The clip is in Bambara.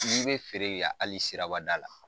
be feere yan hali sirabada la.